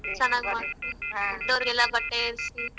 ಚೆನ್ನಾಗ್ ದೊಡ್ಡೊರ್ಗೆಲ್ಲಾ ಬಟ್ಟೆ ಏರ್ಸಿ.